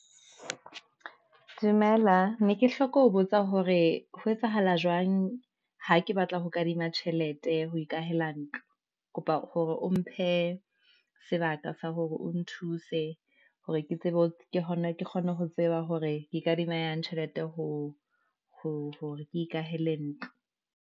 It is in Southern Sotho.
Dumela ne ke hloka ho botsa hore ho etsahala jwang, ha ke batla ho kadima tjhelete ho ikahela ntlo, kopa hore o mphe e sebaka sa hore o nthuse, hore ke kgone ho tseba hore ke kadimang yang tjhelete, hore ke ikahela ntlo.